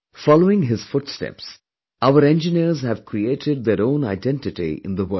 Following his footsteps, our engineers have created their own identity in the world